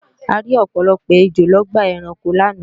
A rí ọ̀pọ̀lọpọ̀ ejò lọ́gbà ẹranko láàná